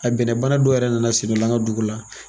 A bɛnnɛbana dɔ yɛrɛ nana sen dɔ la an ka dugu la.